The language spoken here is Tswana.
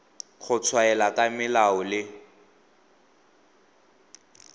go tshwaela ka melao le